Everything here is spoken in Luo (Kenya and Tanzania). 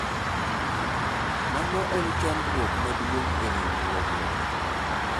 mano en chandruok maduong' e riwruowga